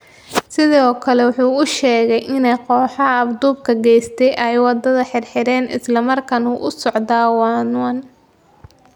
Sidoo kale waxa uu sheegay in kooxaha afduubka geystay ay wada xiriireen, isla markaana uu socdo waanwaan.